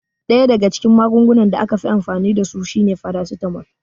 Ɗaya daga cikin magungunan da aka fi amfani dasu shine farasitamol